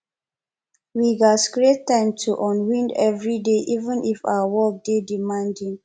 we gats create time to unwind every day even if our work dey demanding